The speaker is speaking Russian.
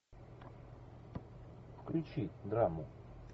включи драму